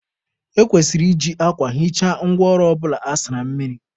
E kwesịrị iji akwa hichaa ngwa ọrụ ọbụla a sara mmiri.